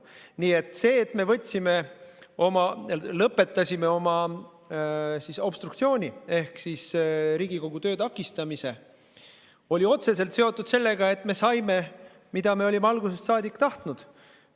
Nii et see, et me lõpetasime oma obstruktsiooni ehk siis Riigikogu töö takistamise, oli otseselt seotud sellega, et me saime, mida olime algusest saadik tahtnud.